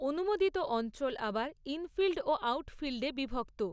অনুমোদিত অঞ্চল আবার 'ইনফিল্ড' ও 'আউটফিল্ডে' বিভক্ত।